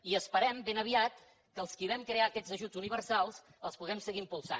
i esperem ben aviat que els qui vam crear aquests ajuts universal els puguem seguir impulsant